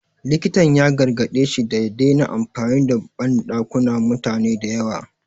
Likitan ya gargaɗe shi da ya dena amfani da banɗakunan mutane da yawa